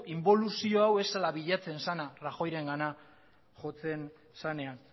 inboluzio hau ez zela bilatzen zena rajoyrengana jotzen zenean